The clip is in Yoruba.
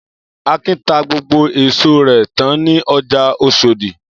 Akin ta gbogbo èso rẹ̀ tán ní ọjà Oṣòdì.